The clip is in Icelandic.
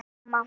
spyr mamma.